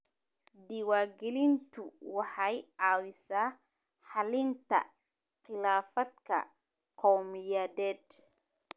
Diiwaangelintu waxay caawisaa xallinta khilaafaadka qowmiyadeed.